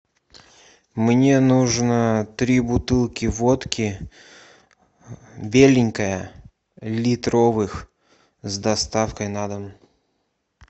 мне нужно три бутылки водки беленькая литровых с доставкой на дом